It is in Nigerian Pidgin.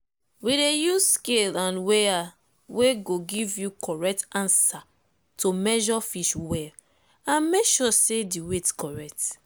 we dey use scale and weigher wey go give you correct answer to measure fish well and make sure say the weight correct.